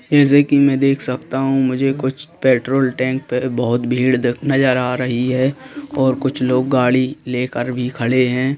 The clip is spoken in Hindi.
जैसे कि मैं देख सकता हूं मुझे कुछ पेट्रोल टैंक पे बहुत भीड़ नज़र आ रही है और कुछ लोग गाड़ी लेकर भी खड़े हैं।